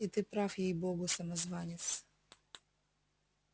и ты прав ей богу самозванец